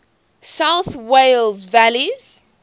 south wales valleys